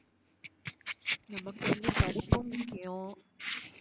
நமக்கு வந்து படிப்பும் முக்கியம்.